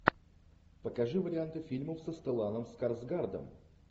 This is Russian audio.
покажи варианты фильмов со стелланом скарсгардом